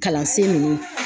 Kalansen ninnu